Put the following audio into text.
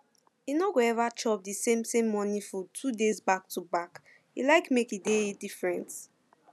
e no go ever chop the same same morning food two days backtoback e like make e dey different